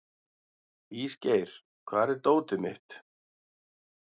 Ísgeir, hvar er dótið mitt?